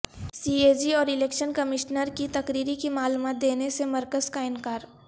C A G اور election commissioner کی تقرری کی معلومات دینے سے مرکز کا انکار